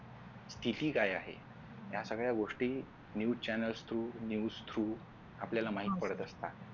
स्तिती काय आहे या सगळ्या गोष्टी news channel throughnews through आपल्याला माहित पडत असतात.